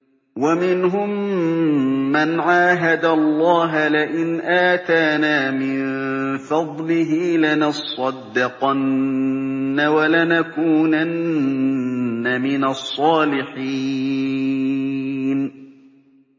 ۞ وَمِنْهُم مَّنْ عَاهَدَ اللَّهَ لَئِنْ آتَانَا مِن فَضْلِهِ لَنَصَّدَّقَنَّ وَلَنَكُونَنَّ مِنَ الصَّالِحِينَ